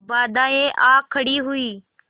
बाधाऍं आ खड़ी हुई